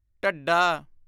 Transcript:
ਢੱਢਾ